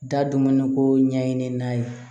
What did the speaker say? Da dumuni ko ɲɛɲini n'a ye